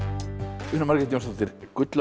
Una Margrét Jónsdóttir gullöld